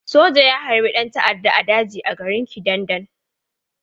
Soja ya harbi ɗan ta'adda a daji a garin Kidandan.